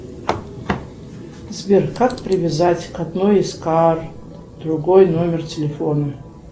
сбер как привязать к одной из карт другой номер телефона